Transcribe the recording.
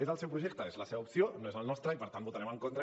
és el seu projecte és la seva opció no és el nostre i per tant hi votarem en contra